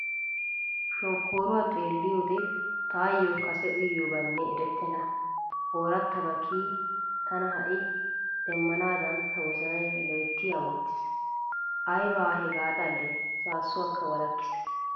Shokkooruwaa xeelliyoode taayyoo kase uyyidobaynne erettenna oorattabaa kiyidi tana ha'i demmanaadan ta wozanay loyttidi amotiis. Ayba hegaa xallee saassuwakka walakkiis.